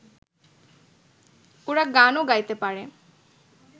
ওরা গানও গাইতে পারে